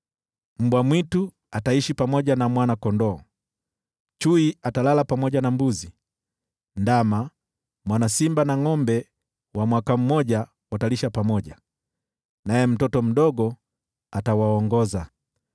Mbwa mwitu ataishi pamoja na mwana-kondoo, naye chui atalala pamoja na mbuzi, ndama, mwana simba na ngʼombe wa mwaka mmoja watakaa pamoja, naye mtoto mdogo atawaongoza.